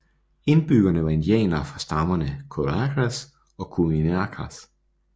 Indbyggerne var indianere fra stammerne Covarecas og Curuminacas